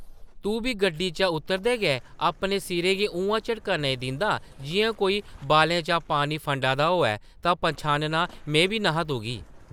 ‘‘तूं बी गड्डी चा उतरदे गै अपने सिरा गी उʼआं झटका नेईं दिंदा जिʼयां कोई बालें चा पानी फंडा दा होऐ तां पन्छानना में बी न’हा तुगी ।’’